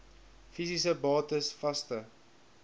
fisiese bates vaste